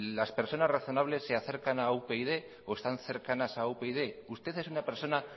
las personas razonables se acercan a upyd o están cercanas a upyd usted es una persona